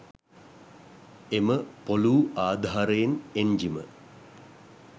එම පොලූ ආධාරයෙන් එන්ජිම